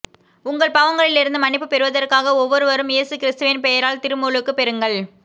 உங்கள் பாவங்களிலிருந்து மன்னிப்புப் பெறுவதற்காக ஒவ்வொருவரும் இயேசு கிறிஸ்துவின் பெயரால் திருமுழுக்குப் பெறுங்கள்